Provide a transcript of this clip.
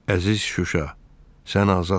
Əziz Şuşa, sən azadsan!